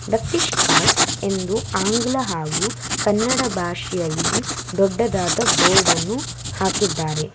The fish cart ಅಂದು ಆಂಗ್ಲ ಹಾಗು ಕನ್ನಡ ಭಾಷೆಅಲ್ಲಿ ದೊಡ್ಡದಾದ ಬೋರ್ಡನ್ನು ಹಾಕಿದ್ದಾರೆ.